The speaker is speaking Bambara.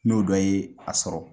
N'o dɔ ye a sɔrɔ.